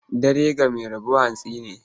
Dare ga mai rabo hantsi ne.